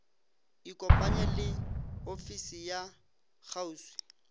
ikopanye le ofisi ya kgauswi